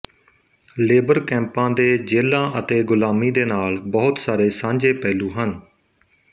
labour ਕੈਂਪਾਂ ਦੇ ਜੇਲ੍ਹਾਂ ਅਤੇ ਗੁਲਾਮੀ ਦੇ ਨਾਲ ਬਹੁਤ ਸਾਰੇ ਸਾਂਝੇ ਪਹਿਲੂ ਹਨ